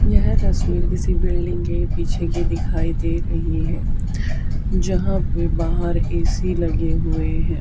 यह तस्वीर किसी बिल्डिंग के पीछे की दिखाई दे रही है जहां पे बाहर ए_सी लगे हुए हैं।